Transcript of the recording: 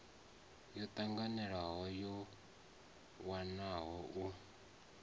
yo tanganelaho yo wanwaho u